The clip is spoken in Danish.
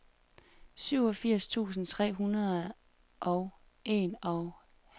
syvogfirs tusind tre hundrede og enoghalvfjerds